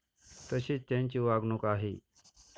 तशीच त्यांची वागणूक आहे.